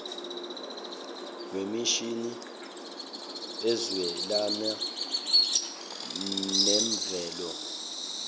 wemishini ezwelana nemvelo